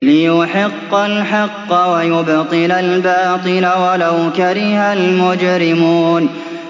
لِيُحِقَّ الْحَقَّ وَيُبْطِلَ الْبَاطِلَ وَلَوْ كَرِهَ الْمُجْرِمُونَ